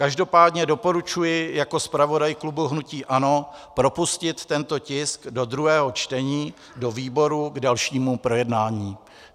Každopádně doporučuji jako zpravodaj klubu hnutí ANO propustit tento tisk do druhého čtení do výborů k dalšímu projednání.